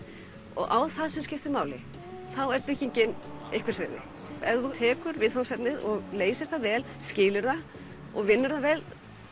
og á það sem skiptir máli þá er byggingin einhvers virði ef þú tekur viðfangsefnið leysir það vel skilur það og vinnur vel